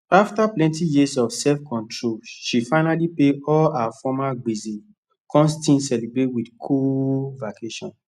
afta plenti years of self control she finally pay all her former gbese kon still celebrate wit cool vacation